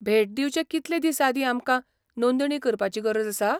भेट दिवचे कितले दिस आदीं आमकां नोंदणी करपाची गरज आसा?